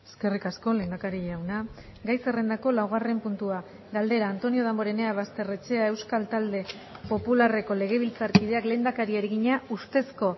eskerrik asko lehendakari jauna gai zerrendako laugarren puntua galdera antonio damborenea basterrechea euskal talde popularreko legebiltzarkideak lehendakariari egina ustezko